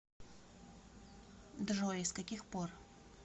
джой с каких пор